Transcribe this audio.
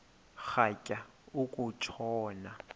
rhatya uku tshona